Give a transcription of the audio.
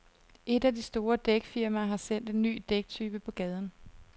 Et af de store dækfirmaer har sendt en ny dæktype på gaden.